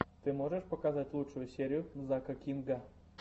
ты можешь показать лучшую серию зака кинга